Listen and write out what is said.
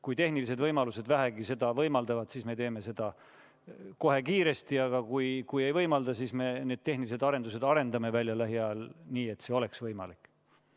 Kui tehnilised võimalused seda vähegi võimaldavad, siis me teeme seda kohe kiiresti, aga kui ei võimalda, siis me need tehnilised arendused arendame välja lähiajal, nii et see oleks võimalik.